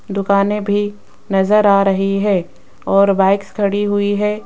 दुकाने भी नजर आ रही है और बाइक्स खड़ी हुई है।